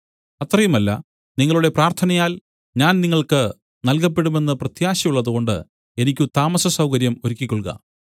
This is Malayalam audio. അത്രയുമല്ല നിങ്ങളുടെ പ്രാർത്ഥനയാൽ ഞാൻ നിങ്ങൾക്ക് നൽകപ്പെടുമെന്ന് പ്രത്യാശ ഉള്ളതുകൊണ്ട് എനിക്ക് താമസസൗകര്യം ഒരുക്കിക്കൊള്ളുക